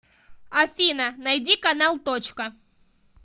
афина найди канал точка